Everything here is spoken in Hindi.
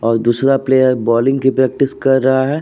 और दूसरा प्लेयर बॉलिंग की प्रैक्टिस कर रहा है।